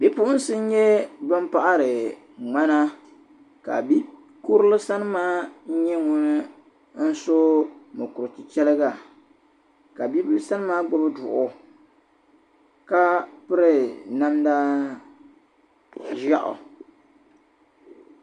Bi'puɣinsi n-nyɛ ban paɣiri ŋmana ka bi'kurili sani maa nyɛ ŋun so mukur'chichɛriga ka bila sani maa gbubi duɣu ka piri namda ʒeɣu.